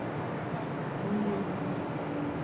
индиру